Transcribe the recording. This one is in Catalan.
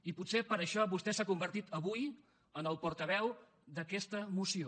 i potser per això vostè s’ha convertit avui en el portaveu d’aquesta moció